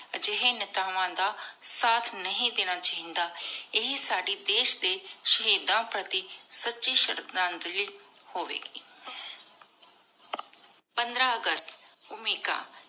ਏਹੀ ਜਾਏ ਨੇਤਾਵਾਂ ਦਾ ਸਾਥ ਨਹੀ ਦੇਣਾ ਚਾਹੀਂਦਾ ਇਹੀ ਸਾਡੀ ਦੇਸ਼ ਦੇ ਸ਼ਹੀਦਾਂ ਪ੍ਰਤੀ ਸੱਚੀ ਸ਼ਰਧਾਂਜਲੀ ਹੋਵੀ ਗੀ। ਪੰਦਰਾਂ ਅਗਸਤ ਓਮਿਕਾ